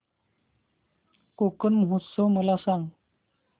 कोकण महोत्सव मला सांग